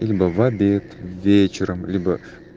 либо в обед вечером либо